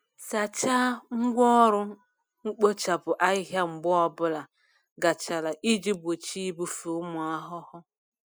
Sachaa ngwá ọrụ mkpochapụ ahịhịa mgbe ọ bụla gachara iji gbochie ibufe ụmụ ahụhụ.